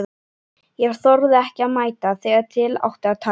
Ég þorði ekki að mæta þegar til átti að taka.